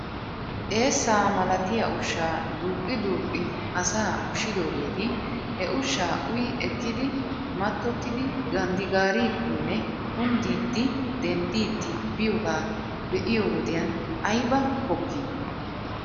Eessa malatiya ushsha duuqi duuqqi asaa ushshidoogeeti he ushshaa uyi ekkidi mattottidi ganddigaariidinne kundiidi dendiidi biyogaa be'iyo wodiyan ayba pokii?